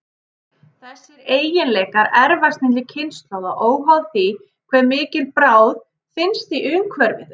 Þessir eiginleikar erfast milli kynslóða, óháð því hve mikil bráð finnst í umhverfi þeirra.